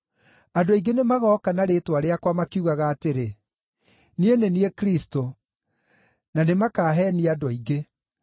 Andũ aingĩ nĩ magooka na rĩĩtwa rĩakwa makiugaga atĩrĩ, ‘Niĩ nĩ niĩ Kristũ,’ na nĩmakaheenia andũ aingĩ.